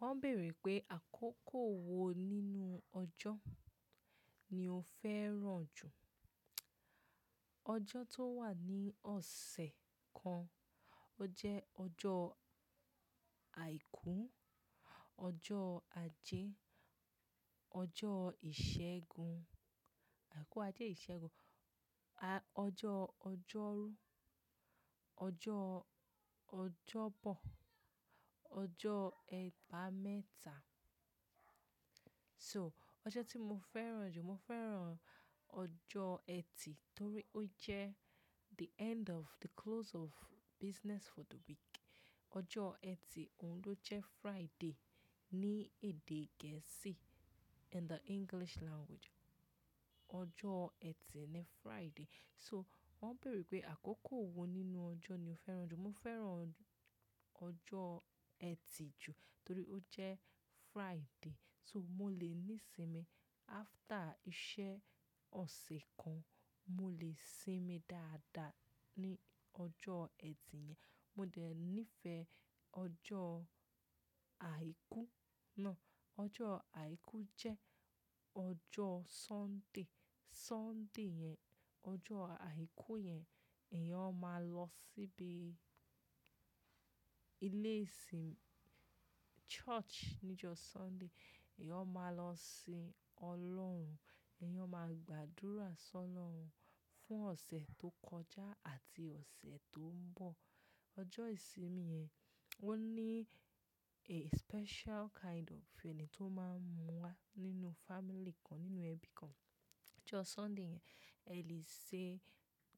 Wọ́n béèrè pé àkókò wo nínú ọjọ́ ni o fẹ́ràn jù? Ọjọ́ tó wà ní ọ̀sẹ̀ kan, ó jẹ́ ọjọ́ àìkú, ọjọ́ ajé, ọjọ́ ìṣẹ́gun, àìkú, ajé, ìṣẹ́gun, ọjọ́, ọjọ́rú, ọjọ́, ọjọ́bọ̀, ọjọ́ ẹgbàá mẹ́ta. So, ọjọ́ tí mo fẹ́ràn jù, mo fẹ́ràn ọjọ́ ẹtì torí ó jẹ́ the end of, the close of business for the week. Ọjọ́ ẹtì, òun ló jẹ́ Friday ní èdè gẹ̀ẹ́sì, in the English language. Ọjọ́ ẹtì ni Friday. So, wọ́n béèrè pé àkókò wo nínú ọjọ́ ni o fẹ́ràn jù? Mo fẹ́ràn ọjọ́ ẹtì jù torí ó jẹ́ Friday. So, mo lè ní sinmi after iṣẹ́ ọ̀sẹ̀ kan, mo lè sinmi dáadáa ní ọjọ́ ẹtì yẹn. Mo dẹ̀ nífẹ̀ẹ́ ọjọ́ àìkú náà. Ọjọ́ àìkú jẹ́ ọjọ́ Sunday. Sunday yẹn, ọjọ́ àìkú yẹn, èèyàn ó máa lọ síbi ilé ìsinmi, church ní jọ́ Sunday, èèyàn máa lọ sin Ọlọ́run, èèyàn máa gbàdúrà sí ọlọ́run fún ọ̀sẹ̀ tó kọjá àti ọ̀sẹ̀ tó ń bọ̀. Ọjọ́ ìsinmi yẹn, ó ní a special kind of feeling tó máa ń mú wá nínú family kan, nínú ẹbí kan. Ọjọ́ Sunday yẹn, ẹ lè ṣe